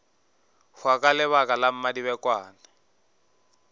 hwa ka lebaka la mmadibekwane